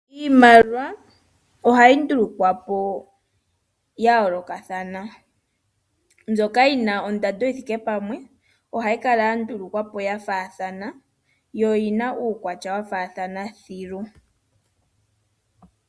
Iimaliwa ohayi ndulukwa po ya yoolokathana. Mbyoka yi na ondando yi thike pamwe ohayi kala ya ndulukwa po ya faathana yo oyi na uukwatya wa faathana thilu.